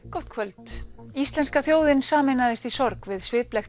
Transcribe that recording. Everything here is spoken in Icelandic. gott kvöld íslenska þjóðin sameinaðist í sorg við sviplegt